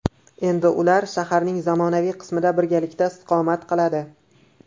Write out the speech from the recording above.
Endi ular shaharning zamonaviy qismida birgalikda istiqomat qiladi.